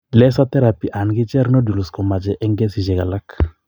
Laser therapy anan kicher nodules komoche en kesiisyek alak.